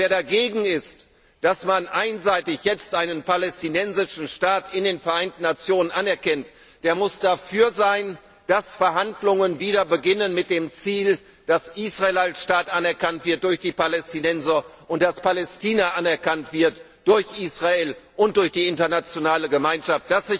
Wer dagegen ist, dass man jetzt einseitig einen Palästinensischen Staat in den Vereinten Nationen anerkennt, der muss dafür sein, dass die Verhandlungen wieder beginnen, mit dem Ziel, dass Israel als Staat anerkannt wird durch die Palästinenser und dass Palästina anerkannt wird durch Israel und durch die Internationale Gemeinschaft.